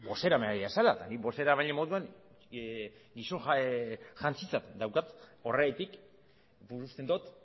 bozeramailea zara eta ni bozeramaile moduan daukat horregatik nik uste dot